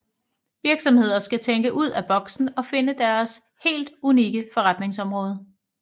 Virksomheder skal tænke ud af boksen og finde deres helt unikke forretningsområde